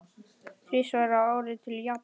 Þrisvar á ári til Japans?